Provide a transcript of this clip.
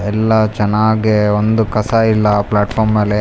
ಎಲ್ಲ ಚನ್ನಾಗೆ ಒಂದು ಕಸ ಇಲ್ಲ ಪ್ಲಾರ್ಟ್ಫಾರ್ಮ್ಅಲ್ಲಿ --